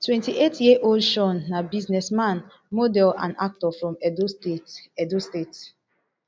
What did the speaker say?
twenty-eighty years old shaun na businessman model and actor from edo state edo state